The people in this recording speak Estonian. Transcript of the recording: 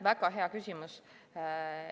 Väga hea küsimus.